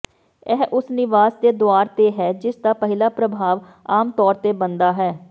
ਇਹ ਉਸ ਨਿਵਾਸ ਦੇ ਦੁਆਰ ਤੇ ਹੈ ਜਿਸਦਾ ਪਹਿਲਾ ਪ੍ਰਭਾਵ ਆਮ ਤੌਰ ਤੇ ਬਣਦਾ ਹੈ